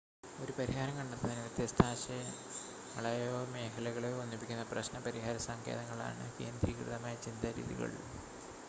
ഒരു പരിഹാരം കണ്ടെത്തുന്നതിന് വ്യത്യസ്ത ആശയങ്ങളെയോ മേഖലകളെയോ ഒന്നിപ്പിക്കുന്ന പ്രശ്‌ന പരിഹാര സങ്കേതങ്ങളാണ് കേന്ദ്രീകൃതമായ ചിന്താ രീതികൾ